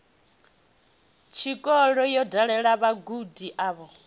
tshikolo yo dalela vhagudi avho